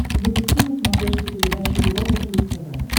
запусти на смотрешке передачу европа плюс тв